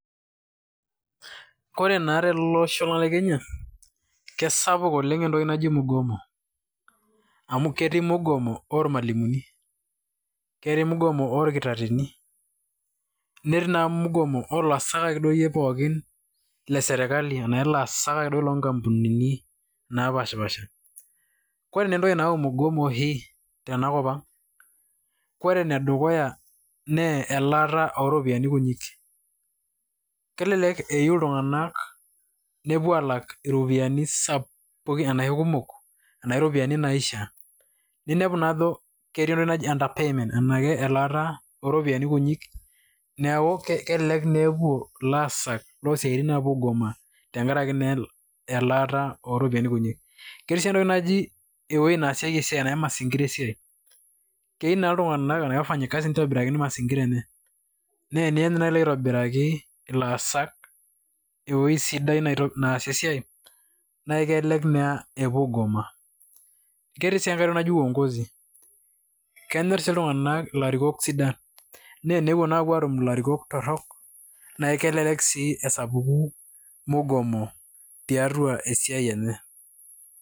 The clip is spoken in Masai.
Ore naa tele osho lang' le Kenya kesapuk naa netoki naji mgomo amu ketii mgomo ormalimuni, ketii mgomo orkitarrini, netii naa mgomo oolaasak akeyie pookin lesirkali ashu ilaasak akeduo lonkampunini naapaashipaasha. Ore naa entoki nayau mgomo oshi tenakop ang' , ore enedukuya naa elaata ooropiyiani kunyi kelelek eyieu iltung'anak nepuoi aalak iropiyiani kumok arashu iropiyiani naishiaa ninepu naa ajo ketii entoki naji under payment elaata ooropoiyiani kuti neeku kelelek naa epuo ilaasak loosiaitin naa aapuo aigoma tenkaraki naa elaata oorpiyiani kutik. Ketii sii entoki naji ewueji naasieki esiai ashu mazingira esiai keyieu naa wafanyikazi nitobirakini mazingira enye. Naa teniany naa ilo aitobiraki ilaasak ewueji sidai naasie esiai naa kelelek naa epuo aigoma, neetai sii uongozi kenyorr sii iltung'anak ilarikok sidan naa tenepuo sii aapuo aatum ilarikok torrok naa kelelek sii esapuku mgomo tiatua esiai enye.